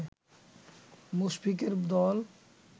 মুশফিকের দল